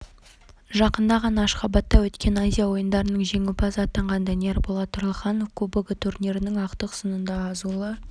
жақында ғана ашхабадта өткен азия ойындарының жеңімпазы атанған данияр болат тұрлыханов кубогы турнирінің ақтық сынында азулы